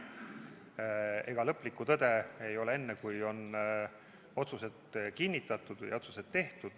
Ega lõplikku tõde ei ole enne, kui on otsused kinnitatud või otsused tehtud.